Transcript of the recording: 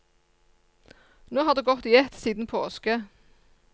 Nå har det gått i ett siden påske.